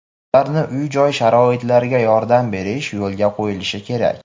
ularni uy-joy sharoitlariga yordam berish yo‘lga qo‘yilishi kerak.